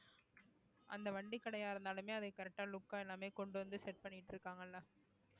அந்த வண்டி கடையா இருந்தாலுமே அதை correct ஆ look ஆ எல்லாமே கொண்டு வந்து set பண்ணிட்டு இருக்காங்கல்ல